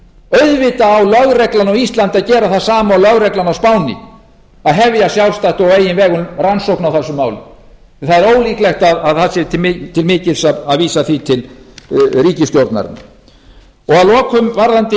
auðvitað á lögreglan á íslandi að gera það sama og lögreglan á spáni að hefja sjálfstætt og á eigin vegum rannsókn á þessum máli en það er ólíklegt að það sé til mikils að vísa því til ríkisstjórnarinnar að lokum varðandi viðræður